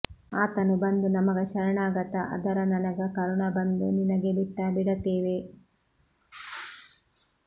ಆತನು ಬಂದು ನಮಗ ಶರಣಾಗತ ಆದರ ನನಗ ಕರುಣಬಂದು ನಿನಗೆಬಿಟ್ಟ ಬಿಡತೇವೆ